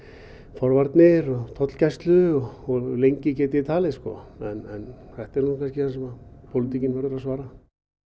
forvarnir og tollgæslu og lengi gæti ég talið en þetta er það sem pólitíkin verður að svara